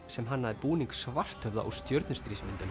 sem hannaði búning Svarthöfða úr